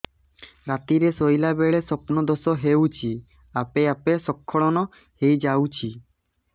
ରାତିରେ ଶୋଇଲା ବେଳେ ସ୍ବପ୍ନ ଦୋଷ ହେଉଛି ଆପେ ଆପେ ସ୍ଖଳନ ହେଇଯାଉଛି